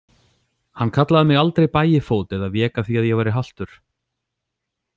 Hann kallaði mig aldrei bægifót eða vék að því að ég væri haltur.